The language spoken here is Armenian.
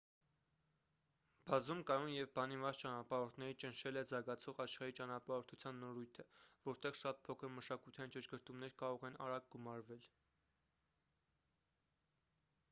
բազում կայուն և բանիմաց ճանապարհորդների ճնշել է զարգացող աշխարհի ճանապարհորդության նորույթը որտեղ շատ փոքր մշակութային ճշգրտումներ կարող են արագ գումարվել